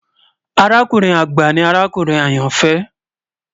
Àràkùnrin agba ni àràkùnrin ayanfẹ